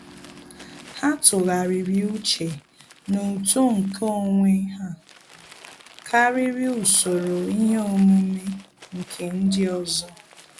Há tụ́gharị́rị́ úchè na uto nke onwe ha kàrị́rị́ usoro ihe omume nke ndị ọzọ.